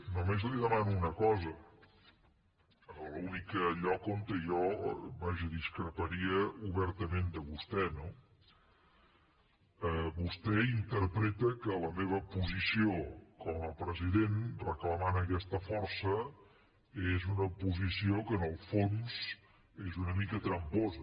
només li demano una cosa a l’únic lloc on jo vaja discreparia obertament de vostè no vostè interpreta que la meva posició com a president reclamant aquesta força és una posició que en el fons és una mica tramposa